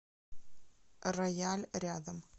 рояль рядом